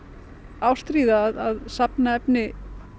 ástríða að safna efni